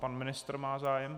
Pan ministr má zájem.